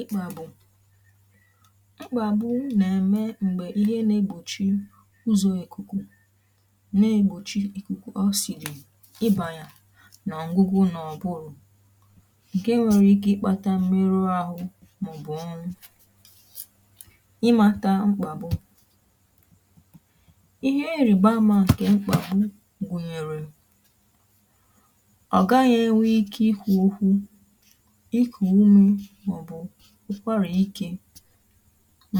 ịkpà bụ̀ mkpàgbu nà-èmè m̀gbè ihe n’egbòchi ụzọ̇ ekùkù, n’egbòchi ìkùkù ọ sìrì ibànyà n’à̀gbọ̀gwụ̀. nà ọ̀bụrụ̀ ǹkè nwere ike ịkpàtà mmerụ̀ ahụ̀ màọbụ̀ ọrụ, ịmàtà mkpàgbu, ihe nrìgba àma àkè mkpàgbu gùnyèrè ìkù ụ̀mè, mà ọ̀ bụ̀ ụ́kwarà ike.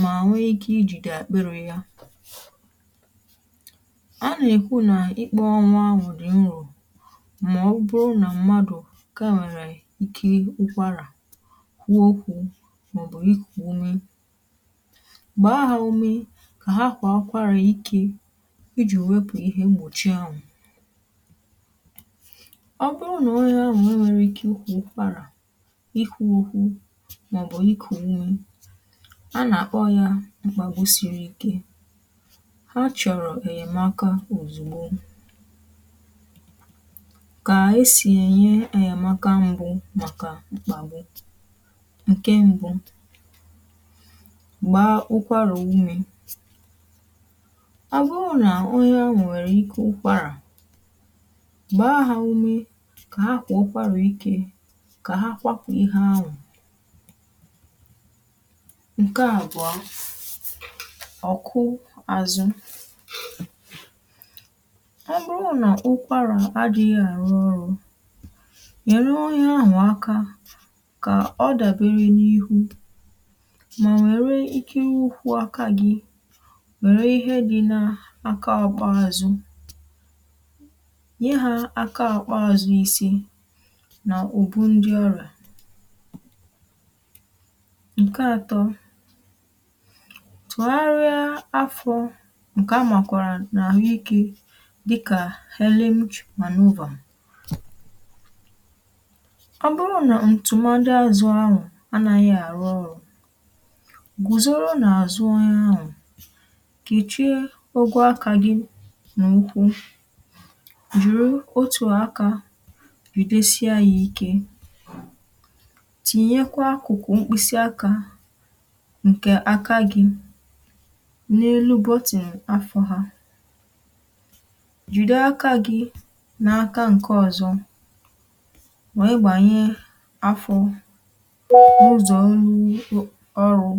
mà nwe ikè ijì dị àkpéré ya, a nà-èkwu nà ikpò ọnwa anwụ̇ dị̀ nrọ̀. mà ọ̀ bụrụ nà m̀madụ̇ kemịrị̀ ike, ụ́kwarà kwuo okwu̇, mà ọ̀ bụ̀ ikùkọ ụ̀mè gbàa ha ụ̀mè, kà ha kwà àkwàrā ike ijì wepụ̀ ihe mgbòchi anwụ̇. ọ̀ bụrụ nà onye anwụ̇ nwere ike ụ̀kwarà, màọbụ̇ ikù nwaìmè, a nà-àkpọ ya mkpàgbu siri ike ha chọ̀rọ̀ ènyèmàka ozùgboò. kà e si̇ ènye ènyèmàka mbụ̀ màkà mkpàgbu, ǹkè mbụ̀ — gbàrà ụ́mị̇. gbàrà ụ́mị̇, ọ̀ bụrụ nà ọ̀yà nwèrè ike ụ́kwarà, gbàa ha ụ̀mè kà ha kwọ̀ ụ́kwarụ̀ ike. ǹkè à bụ̀a ọ̀kụ̀ àzụ̀. ọ̀ bụrụ nà ụ́kwarà adị̇ghị̇ àrụ́ ọrụ, mèrèwo ihe ahụ̀, àkà kà ọ dàbéré n’ihu mà nwèrè ike nwụ̀kwụ̀ — àkà gị nwèrè ihe dị̇ n’aka ọ́kpà àzụ̀ nkè atọ̇, tụgharịa àfọ̇. nkè a makwọrọ n’àhụ́iké dị̇kà helene mmanụ̀wà; bụrụ nà ntụ̀màdị̀ àzụ̀ ahụ̀ anàghị àrụ́ ọrụ̇, gùzòrò n’àzụ̀ onye ahụ̀ kà e chie ùgwù̀, àkà gị n’ụ́kwụ̀ jùrù otu àkà, tinyekwa akụ̀kụ̀ mkpịsị̀ àkà ǹkè àkà gị̇ n’elúbọ̀ àtìn àfọ̀. hà jùde àkà gị̇ n’aka ǹkè ọzọ, mà igbànyè àfọ̀, ụzọ̀ ọrụ̀ ọrụ̀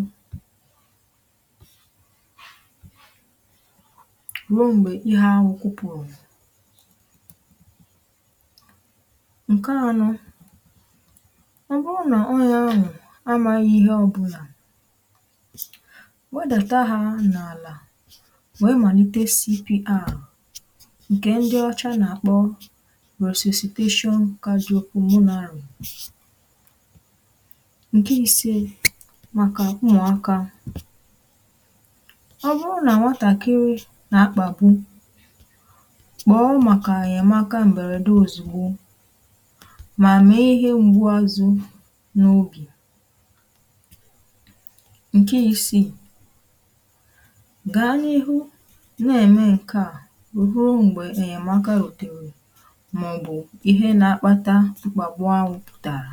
ruo m̀gbè ihe ahụ̀ kwụ̀kwụ̇rụ̀. ọ̀ bụrụ nà onye ahụ̀ amàghì ihe ọbụlà, wedàtà ha n’àlà, wèe malite CPR ǹkè ndị ọcha nà-àkpọ resuscitation. kà dị̀, okpomò n’arụ̀ ǹkè isii màkà ụmụ̀aka. ọ̀ bụrụ nà nwatàkịrị̀ nà-àkpàgbu, kpọọ màkà ènyèmàka m̀bèrèdè ozùgbo ǹkè isi gaa n’ihu nà-èmè ǹkè a rùrù m̀gbè èmèakaròtèrè màọbụ̇ ihe nà-akpàtà mkpàgbu à wùpụ̀tàrà.